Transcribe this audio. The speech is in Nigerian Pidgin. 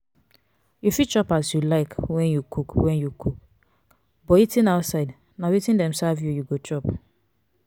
you fit chop as you like when you cook when you cook but eating out na wetin dem serve you you go chop